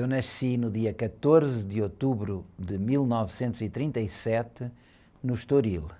Eu nasci no dia quatorze de outubro de mil novecentos e trinta e sete no Estoril,